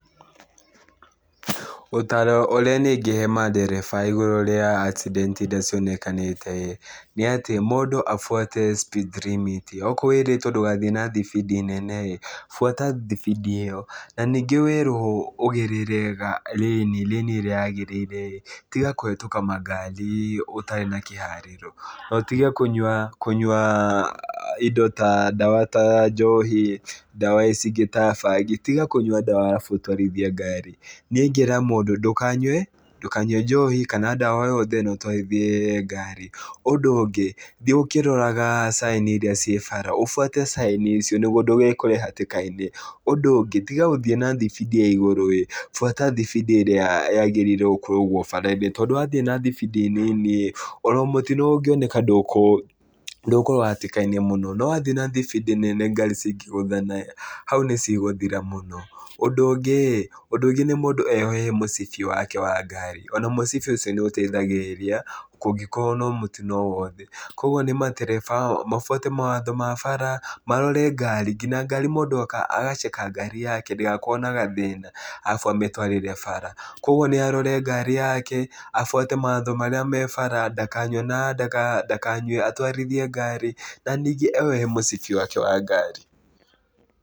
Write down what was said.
Ũtaaro ũrĩa niĩ ingĩhe mandereba igũrũ rĩa accident irĩa cionekanĩte ĩĩ, nĩ atĩ mũndũ abuate speed limit. Okorwo wĩrĩtwo ndũgathiĩ na thibindi nene rĩ, buata thibindi ĩyo. Na ningĩ werwo ũgerere rĩni, rĩni ĩrĩa yagĩrĩire, tiga kũhetũka makari ũtarĩ na kĩharĩro, na ũtige kũnyua kũnyua indo ta ndawa ta njohi, ndawa ici ingĩ ta bangi. Tiga kũnyua ndawa arabu ũtwarithie ngari. Niĩ ingĩra mũndũ, ndũkanyue ndũkanyue njohi, kana ndawa yothe, na ũtwarithie ngari. Ũndũ ũngĩ, thiĩ ũkĩroraga caĩni irĩa ciĩ bata. Ũbuate caĩni icio, nĩguo ndũgekore hatĩka-inĩ. Ũndũ ũngĩ, tiga gũthiĩ na thibindi ya igũrũ ĩĩ. Buata thibindi ĩrĩa yagĩrĩirwo gũkoragwo bara-inĩ. Tondũ wathiĩ na thibindi nini ĩĩ, ona mũtino ũngĩoneka ndũgũkorwo hatĩka-inĩ mũno. No wathiĩ na thibindi nene ngari cingĩgũthana ĩĩ, hau nĩ cigũthira mũno. Ũndũ ũngĩ ĩĩ, ũndũ ũngĩ nĩ mũndũ eyohe mũcibi wake wa ngari. Ona mũcibi ũcio nĩ ũteithagĩrĩria, ngũkĩrwo no mũtino o wothe. Kũguo nĩ matereba mabuate mawatho ma bara, marore ngari. Nginya ngari mũndũ agaceka ngari yake, ndĩgakorwo na gathĩna arabu amĩtwarĩre bara. Kũguo nĩ arore ngari yake, abuate mawatho marĩa me bara, ndakanywe na ndakanywe atũairithie ngari, na nyingĩ eyohe mũcibi wake wa ngari.